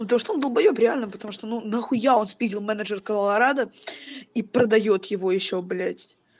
ну то что он долбоёб реально потому что ну нахуя он спиздил менеджер колорадо и продаёт его ещё блядь